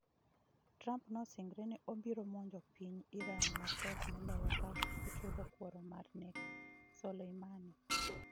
Trump nosingore ni obiro monjo piny Iran matek moloyo ka ochulo kuoro mar nek Soleimani.